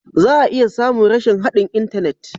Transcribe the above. Za a iya samun rashin haɗin intanet.